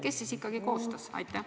Kes siis ikkagi koostas?